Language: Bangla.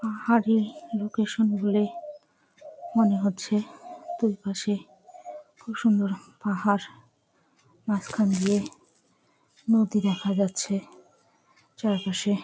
পাহাড়ে লোকেসন ধরে মনে হচ্ছে দু পাশে খুব সুন্দর পাহাড় মাঝখান দিয়ে নদী দেখা যাচ্ছে চারপাশে--